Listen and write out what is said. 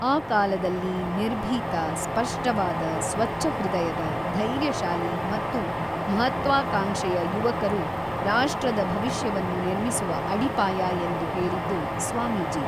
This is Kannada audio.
ಆ ಕಾಲದಲ್ಲಿ ನಿರ್ಭೀತ, ಸ್ಪಷ್ಟವಾದ, ಸ್ವಚ್ಛಹೃದಯದ, ಧೈರ್ಯಶಾಲಿ ಮತ್ತು ಮಹತ್ವಾಕಾಂಕ್ಷೆಯ ಯುವಕರು ರಾಷ್ಟ್ರದ ಭವಿಷ್ಯವನ್ನು ನಿರ್ಮಿಸುವ ಅಡಿಪಾಯ ಎಂದು ಹೇಳಿದ್ದು ಸ್ವಾಮೀಜಿ.